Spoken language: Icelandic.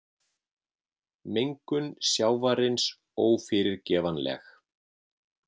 Mengun sjávarins ófyrirgefanleg